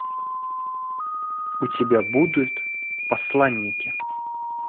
у тебя будут посланники